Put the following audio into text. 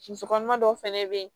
Musokɔnɔma dɔw fana bɛ yen